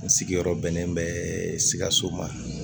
N sigiyɔrɔ bɛnnen bɛ sikaso ma